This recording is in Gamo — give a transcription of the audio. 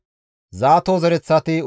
Adiine zereththati 454,